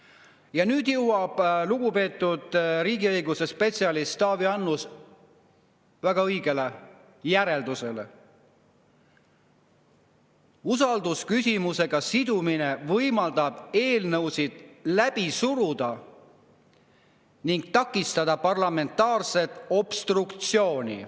Ja nüüd jõuab lugupeetud riigiõiguse spetsialist Taavi Annus väga õigele järeldusele: usaldusküsimusega sidumine võimaldab eelnõusid läbi suruda ning takistada parlamentaarset obstruktsiooni.